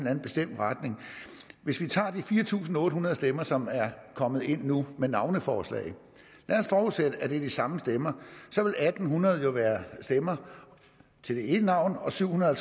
anden bestemt retning hvis vi tager de fire tusind otte hundrede stemmer som er kommet ind nu med navneforslag lad os forudsætte at det er de samme stemmer så vil hundrede stemmer til det ene navn og syv hundrede og